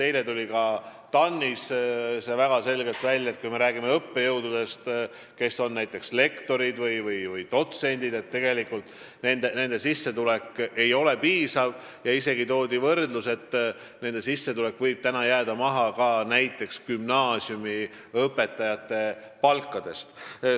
Eile tuli TAN-is väga selgelt välja ka see, et kui me räägime õppejõududest, näiteks lektorid või dotsendid, siis nende sissetulek ei ole piisav – öeldi, et see võib jääda alla isegi gümnaasiumiõpetajate palgale.